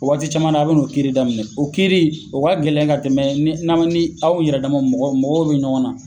O waati caman na a bi n'o kiiri daminɛ . O kiiri in o ka gɛlɛn ka tɛmɛ ni aw yɛrɛ dama mɔgɔ mɔgɔw be ɲɔgɔn na